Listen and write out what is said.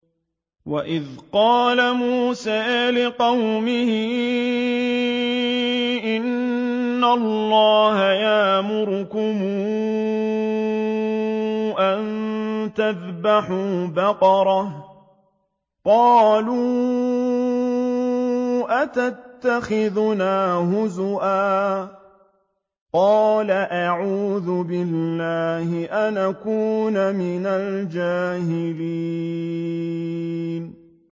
وَإِذْ قَالَ مُوسَىٰ لِقَوْمِهِ إِنَّ اللَّهَ يَأْمُرُكُمْ أَن تَذْبَحُوا بَقَرَةً ۖ قَالُوا أَتَتَّخِذُنَا هُزُوًا ۖ قَالَ أَعُوذُ بِاللَّهِ أَنْ أَكُونَ مِنَ الْجَاهِلِينَ